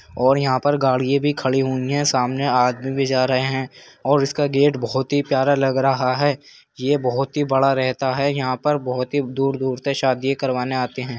और यहां पर गाड़िए भी खड़ी हुई है। सामने आदमी भी जा रहे हैं और इसका गेट बोहोत ही प्यारा लग रहा है। ये बोहोत ही बड़ा रहता है। यहाँ पर बोहोत ही दूर-दूर से शादिये करवाने आते हैं।